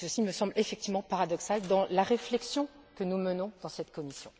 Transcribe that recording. et ceci me semble effectivement paradoxal dans la réflexion que nous menons dans cette commission.